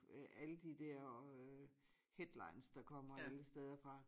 Øh alle de dér øh headlines der kommer alle steder fra